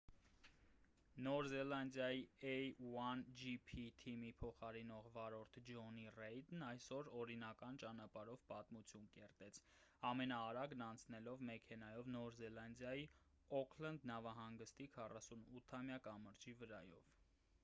նոր զելանդիայի a1gp թիմի փոխարինող վարորդ ջոնի ռեյդն այսօր օրինական ճանապարհով պատմություն կերտեց ամենաարագն անցնելով մեքենայով նոր զելանդիայի օուքլենդ նավահանգստի 48-ամյա կամրջի վրայով